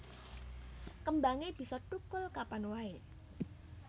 Kembangé bisa thukul kapan waé